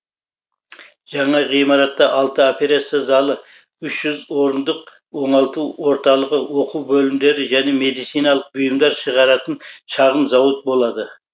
жаңа ғимаратта алты операция залы үш жүз орындық оңалту орталығы оқу бөлімдері және медициналық бұйымдар шығаратын шағын зауыт болады